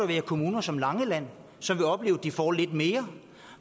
være kommuner som langeland som vil opleve at de får lidt mere